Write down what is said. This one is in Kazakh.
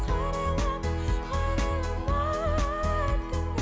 қарайлама қарайлама артыңа